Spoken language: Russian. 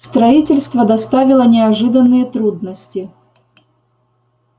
строительство доставило неожиданные трудности